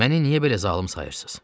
Məni niyə belə zalım sayırsız?